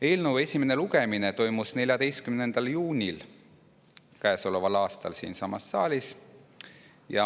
Eelnõu esimene lugemine toimus 14. juunil käesoleval aastal siinsamas saalis.